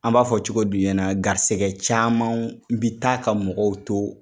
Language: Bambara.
An b'a fɔ cogo di u ɲɛna garisɛgɛ camanw bi taa ka mɔgɔw to